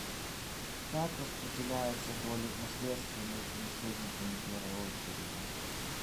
как распределяются доли в наследстве между наследниками первой очереди